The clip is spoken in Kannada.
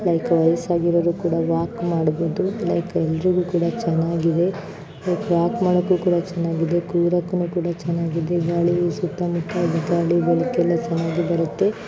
ಲೈಕ್ ವಯಸ್ಸಾಗಿರೋರು ಕೂಡ ವಾಕ್ ಮಾಡ್ಬೋದು. ಲೈಕ್ ಎಲ್ಲರಿಗೂ ಕೂಡ ಚೆನ್ನಾಗಿದೆ ವಾಕ್ ಮಾಡಕ್ಕೂ ಕೂಡ ಚೆನ್ನಾಗಿದೆ ಕೂರಕು ಕೂಡ ಚೆನ್ನಾಗಿದೆ. ಗಾಳಿಯೂ ಸುತ್ತ ಮುತ್ತ ಗಾಳಿ ಬೆಳಕಿಲ್ಲ ಚೆನ್ನಾಗಿ ಬರುತ್ತೆ.